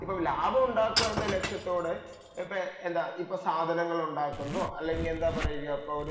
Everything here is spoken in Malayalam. അപ്പോൾ ലാഭം ഉണ്ടാക്കുക എന്ന ലക്ഷ്യത്തോടെ ഇപ്പോൾ എന്താ സാധനങ്ങൾ ഉണ്ടാക്കുമ്പോൾ അല്ലെങ്കിൽ എന്താ പറയുക ഒരു